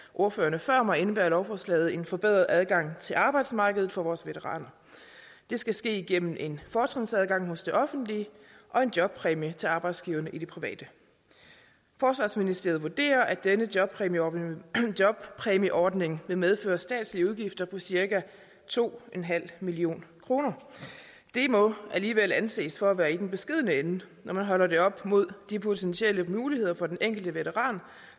ordførerne før mig indebærer lovforslaget en forbedret adgang til arbejdsmarkedet for vores veteraner det skal ske igennem en fortrinsadgang hos det offentlige og en jobpræmie til arbejdsgiverne i det private forsvarsministeriet vurderer at denne jobpræmieordning jobpræmieordning vil medføre statslige udgifter på cirka to million kroner det må alligevel anses for at være i den beskedne ende når man holder det op mod de potentielle muligheder for den enkelte veteran